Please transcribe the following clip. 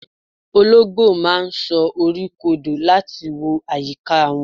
olongbo ma n so ọrọ kodò lati wo ayika won